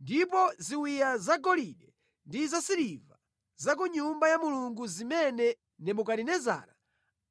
Ndipo ziwiya zagolide ndi zasiliva za ku Nyumba ya Mulungu zimene Nebukadinezara